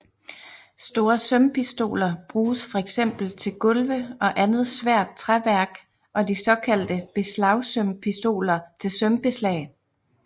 Store sømpistoler bruges fx til gulve og andet svært træværk og de såkaldte beslagsømpistoler til sømbeslag